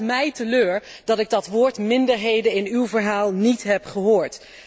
Het stelt mij teleur dat ik het woord minderheden in uw verhaal niet heb gehoord.